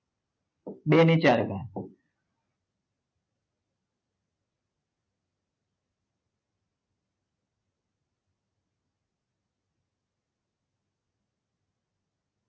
બે ની ચાર ઘાત